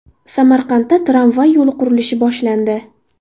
Samarqandda tramvay yo‘li qurilishi boshlandi.